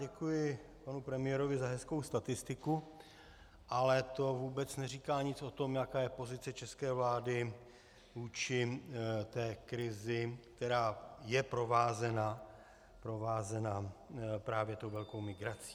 Děkuji panu premiérovi za hezkou statistiku, ale to vůbec neříká nic o tom, jaká je pozice české vlády vůči té krizi, která je provázena právě tou velkou migrací.